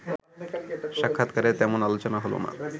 সাক্ষাৎকারে তেমন আলোচনা হলো না